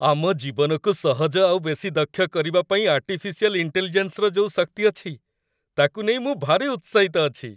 ଆମ ଜୀବନକୁ ସହଜ ଆଉ ବେଶି ଦକ୍ଷ କରିବା ପାଇଁ ଆର୍ଟିଫିସିଆଲ୍ ଇଣ୍ଟେଲିଜେନ୍ସର ଯୋଉ ଶକ୍ତି ଅଛି, ତାକୁ ନେଇ ମୁଁ ଭାରି ଉତ୍ସାହିତ ଅଛି ।